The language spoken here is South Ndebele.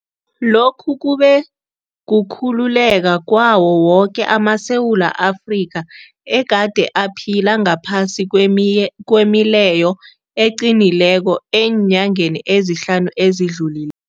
Lokhu kube kukhululeka kwawo woke amaSewula Afrika egade aphila ngaphasi kwemileyo eqinileko eenyangeni ezihlanu ezidluli